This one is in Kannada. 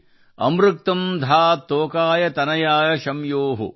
ಅಮೃತಕಂ ಧಾತ್ ತೋಕಾಯ್ ತನಯಾಯ ಶ್ಯಾಮ್ಯೋ |